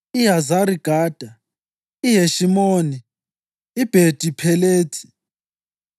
iHazari-Gada, iHeshimoni, iBhethi Phelethi,